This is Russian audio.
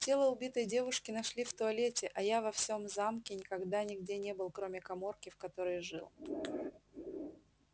тело убитой девушки нашли в туалете а я во всем замке никогда нигде не был кроме каморки в которой жил